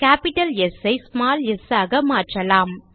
capital S ஐ small S ஆக மாற்றலாம்